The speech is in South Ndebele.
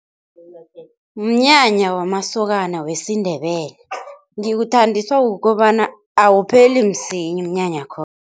Mnyanya wamasokana wesiNdebele, ngiwuthandiswa kukobana awupheli msinya umnyanya